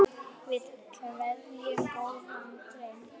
Við kveðjum góðan dreng.